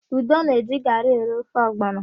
Udo na-eji garị eri ofe ọgbọnọ.